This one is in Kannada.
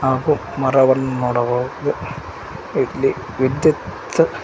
ಹಾಗೂ ಮರವನ್ನು ನೋಡಬಹುದು ಇಲ್ಲಿ ವಿದ್ಯುತ್.